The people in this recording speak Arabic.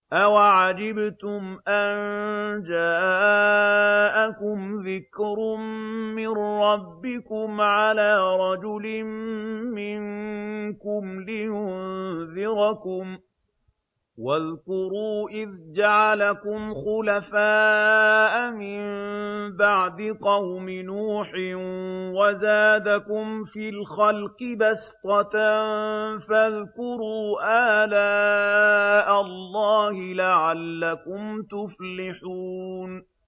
أَوَعَجِبْتُمْ أَن جَاءَكُمْ ذِكْرٌ مِّن رَّبِّكُمْ عَلَىٰ رَجُلٍ مِّنكُمْ لِيُنذِرَكُمْ ۚ وَاذْكُرُوا إِذْ جَعَلَكُمْ خُلَفَاءَ مِن بَعْدِ قَوْمِ نُوحٍ وَزَادَكُمْ فِي الْخَلْقِ بَسْطَةً ۖ فَاذْكُرُوا آلَاءَ اللَّهِ لَعَلَّكُمْ تُفْلِحُونَ